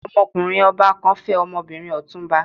Ọmọkùnrin ọba kan fẹ́ ọmọbìnrin Ọ̀túnba.